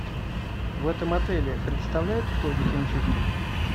в этом отеле предоставляют услуги химчистки